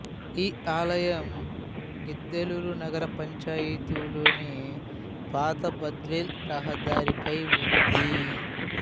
ఈ ఆలయం గిద్దలూరు నగర పంచాయతీలోని పాత బద్వేలు రహదారిపై ఉంది